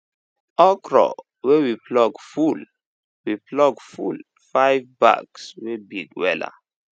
okro wey we pluck full we pluck full five bags wey big wela